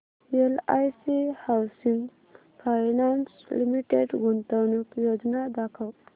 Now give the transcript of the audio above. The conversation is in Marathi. एलआयसी हाऊसिंग फायनान्स लिमिटेड गुंतवणूक योजना दाखव